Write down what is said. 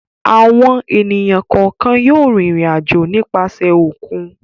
Àwọn ènìyàn kọ̀ọ̀kan yóò rìnrìn-àjò nípasẹ̀ òkun.